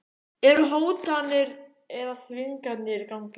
Eru hótanir eða þvinganir í gangi?